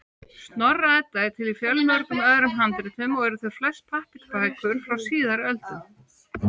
Snorra-Edda er til í fjölmörgum öðrum handritum, og eru þau flest pappírsbækur frá síðari öldum.